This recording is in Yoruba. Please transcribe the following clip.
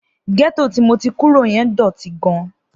Gẹ́tò tí mo ti kúrò yẹn dọ̀tí gan-an.